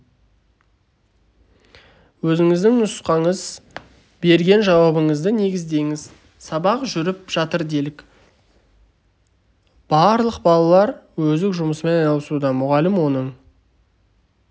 өзіңіздің нұсқаңыз берген жауабыңызды негіздеңіз сабақ жүріп жатыр делік барлық балалар өздік жұмысымен айналысуда мұғалім оның